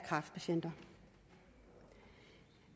kræftpatienter